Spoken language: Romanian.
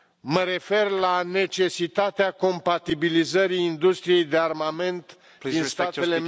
Mă refer la necesitatea compatibilizării industriei de armament din statele